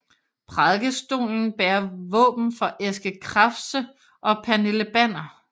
Prædikestolen bærer våben for Eske Krafse og Pernille Banner